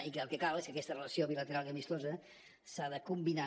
i que el que cal és que aquesta relació bilateral i amistosa s’ha de combinar